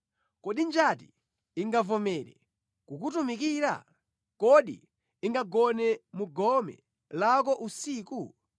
“Kodi njati ingavomere kukutumikira? Kodi ingagone mu gome lako usiku?